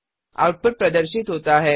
output प्रदर्शित होता है